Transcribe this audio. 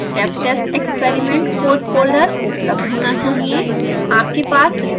आपके पास step test experiment code folder उपलब्ध होना चाहिए